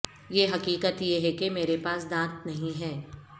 یہ حقیقت یہ ہے کہ میرے پاس دانت نہیں ہے